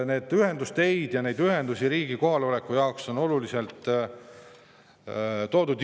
Nii et ühendusteid ja muid ühendusi riigi kohaloleku jaoks on Jõhvi palju loodud.